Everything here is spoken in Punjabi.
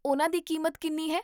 ਉਹਨਾਂ ਦੀ ਕੀਮਤ ਕਿੰਨੀ ਹੈ?